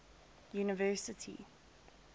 university